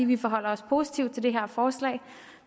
vi forholder os positivt til det her forslag